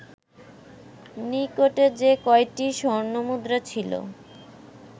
নিকটে যে কয়টি স্বর্ণমুদ্রা ছিল